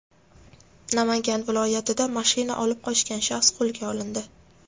Namangan viloyatida mashina olib qochgan shaxs qo‘lga olindi.